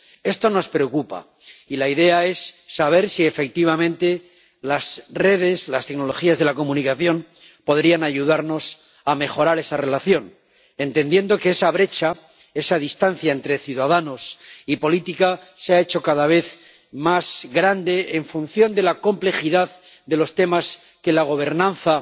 Esto nos preocupa, y la idea es saber si, efectivamente, las redes, las tecnologías de la comunicación, podrían ayudarnos a mejorar esa relación, entendiendo que esa brecha, esa distancia entre ciudadanos y política se ha hecho cada vez más grande, en función de la complejidad de los temas que la gobernanza